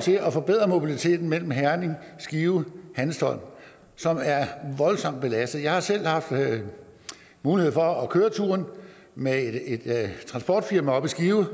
til at forbedre mobiliteten mellem herning skive og hanstholm som er voldsomt belastet jeg har selv haft mulighed for at køre turen med et transportfirma oppe i skive